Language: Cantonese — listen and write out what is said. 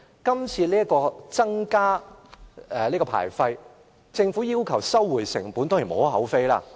今次增加牌費，政府要求收回成本，當然無可厚非。